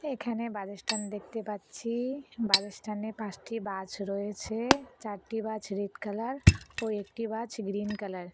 এখানে বাছ এর স্ট্যান্ড দেখতে পাচ্ছি বাছ এর স্ট্যান্ড এ পাঁসটি বাছ রয়েছে চারটি বাছ রেড কালার ও একটি বাছ গ্ৰিন কালার ।